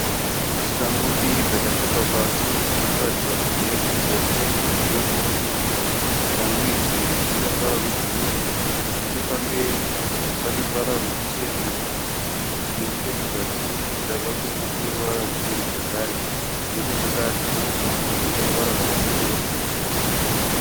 Shangu mbiri dzakatsvetwa pasi. Imwe inoratidza kuti ndeye kuruboshwe imwe ndeye kurudyi. Shangu idzi dzine ruvara rwebhuruu. Nechepamberi pane ruvara rwuchena. Nechekuzasi kunotsikira kwachona kune ruvara ruchena zvakare. Nechemukati dzine ruvara rwakachenerukira.